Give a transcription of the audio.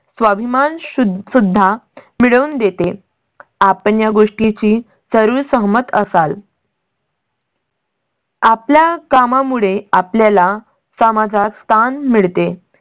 स्वाभिमान सुद्धा मिळवून देते. आपण या गोष्टीशी जरुर सहमत असाल. आपल्या कामा मुळे आपल्या ला समाजात स्थान मिळते